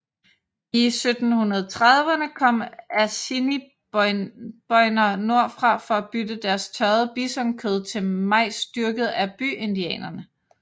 I 1730erne kom assiniboiner nordfra for at bytte deres tørrede bisonkød til majs dyrket af byindianerne